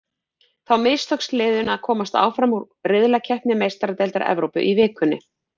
Þá mistókst liðinu að komast áfram úr riðlakeppni Meistaradeildar Evrópu í vikunni.